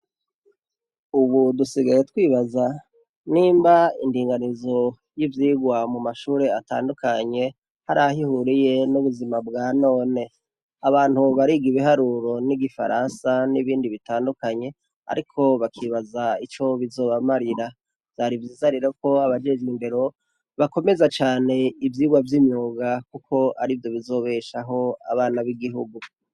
Ubu dusigaye twibaza nimba indinganizo y'ivyigwa mu mashuri atandukanye hari aho ihuriye n'ubuzima bwa none. Abantu bariga ibiharuro n'igifaransa n'ibindi bitandukanye ariko bakibaza ico bizobamarira. Vyari vyiza rero ko abajejwe indero bakomeza cane ivyigwa vy'imyuga kuko arivyo bizobeshaho abana b'igihugu.